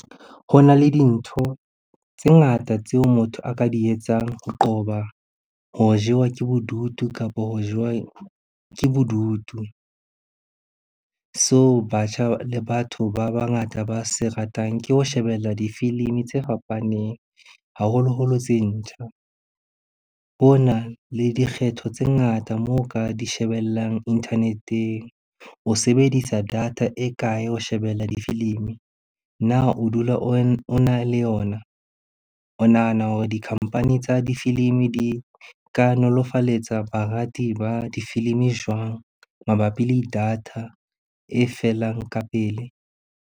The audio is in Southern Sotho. Ho na le dintho tse ngata tseo motho a ka di etsang ho qoba ho jewa ke bodutu kapa ho jewa ke bodutu. So batjha le batho ba bangata ba se ratang ke ho shebella difilimi tse fapaneng, haholoholo tse ntjha. Ho na le dikgetho tse ngata moo ka di shebellang internet-eng. O sebedisa data e kae ho shebella difilimi? Na o dula ona le yona? O nahana hore di-company tsa difilimi di ka nolofaletsa barati ba difilimi jwang mabapi le data e felang ka pele?